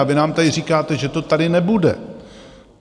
A vy nám tady říkáte, že to tady nebude.